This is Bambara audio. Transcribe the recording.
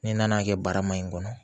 Ni n nana kɛ barama in kɔnɔ